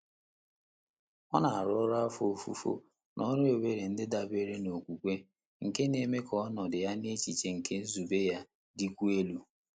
Ọ́ nà-árụ́ ọ́rụ́ áfọ́ ófùfò nà ọ́rụ́ ébèré ndị́ dàbéré nà ókwúkwé, nké nà-émé kà ọ́nọ́dụ̀ yá nà échíché nké nzùbé yá dị́kwùó èlú.